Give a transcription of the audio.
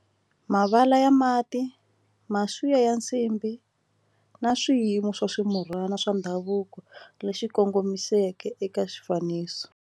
Mavala ya mati ya nsimbhi na swiyimo swo swa ndhavuko leswi kongomisiweke eka xifaniso.